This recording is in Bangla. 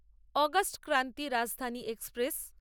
August Kranti Rajdhani express